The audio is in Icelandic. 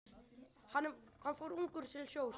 Hann fór ungur til sjós.